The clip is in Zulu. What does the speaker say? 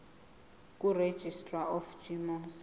kuregistrar of gmos